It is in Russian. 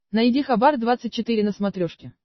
найди хабар двадцать четыре на смотрешке